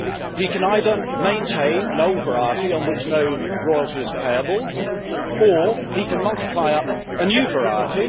He can either maintain an old variety on which no royalty is payable, or he can multiply up a new variety.